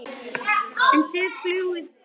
En þið fljúgið víðar?